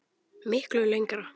Miklu lengra.